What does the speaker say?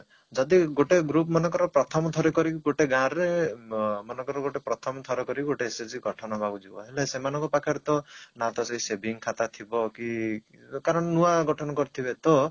ଯଦି ଗୋଟେ group ମନେକର ପ୍ରଥମଥର କରି ଗୋଟେ ଗାଁରେ ଅ ମନେକର ଗୋଟେ ପ୍ରଥମଥର କରି ଗୋଟେ SHG ଗଠନ ହବାକୁ ଯିବ ହେଲେ ସେମାନଙ୍କ ପାଖରେ ତ ନା ତ ସେଇ saving ଖାତା ଥିବ କି କାରଣ ନୂଆ ଗଠନ କରିଥିବେ ତ